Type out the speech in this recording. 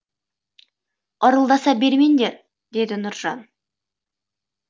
ырылдаса бермеңдер деді нұржан